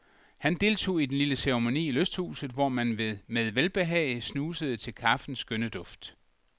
Han deltog i den lille ceremoni i lysthuset, hvor man med velbehag snusede til kaffens skønne duft.